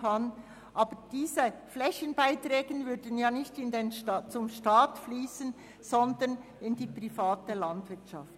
Diese würden nicht in den Staatshaushalt fliessen, sondern in die private Landwirtschaft.